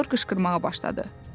Pomidor qışqırmağa başladı.